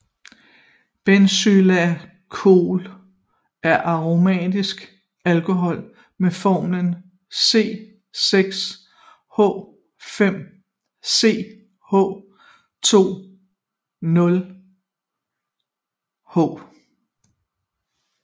Benzylalkohol er aromatisk alkohol med formlen C6H5CH2OH